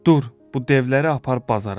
Dur, bu devləri apar bazara.